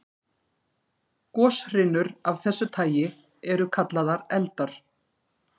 Goshrinur af þessu tagi eru kallaðar eldar.